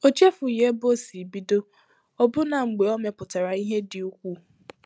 Ọ chefughị ebe o si bido, ọbụna mgbe ọ mepụtara ihe dị ukwuu.